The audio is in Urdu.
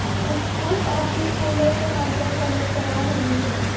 کچھ اب بھی پھولوں کے ملبے تلے کراہ رہے ہیں